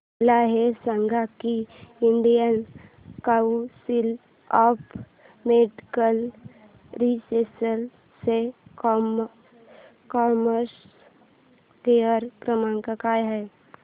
मला हे सांग की Indian council of medical research चा कस्टमर केअर क्रमांक काय आहे